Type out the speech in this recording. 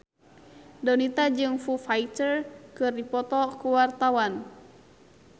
Donita jeung Foo Fighter keur dipoto ku wartawan